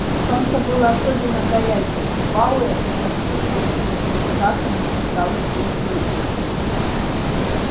солнце было особенно горячее и пауэлл почувствовал что у него страшно зачесалась поясница